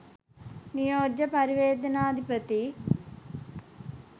නියෝජ්‍ය පරිවේනාධිපති